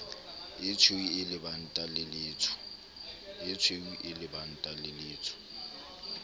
etshweu e lebanta le letsho